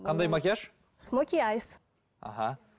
қандай макияж смоки айс іхі